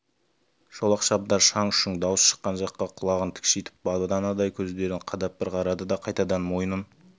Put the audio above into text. шолақ шабдар шаң-шұң дауыс шыққан жаққа құлағын тікшитіп баданадай көздерін қадап бір қарады да қайтадан мойнын